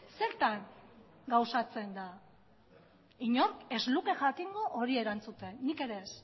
zertan gauzatzen da inork ez luke jakingo hori erantzuten nik ere ez